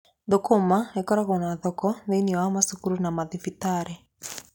Thũkũma ikoragwo na thoko thĩiniĩ wa macukuru na mathibitarĩ.